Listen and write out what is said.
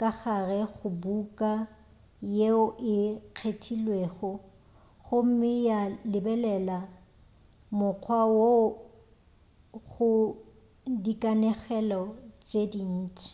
ka gare ga buka yeo e kgethilwego gomme ya lebelela mokgwa woo go dikanegelo tše dintši